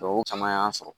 o caman y'an sɔrɔ